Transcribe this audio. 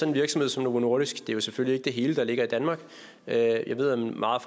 en virksomhed som novo nordisk det er selvfølgelig ikke hele forskningen der ligger i danmark jeg ved at meget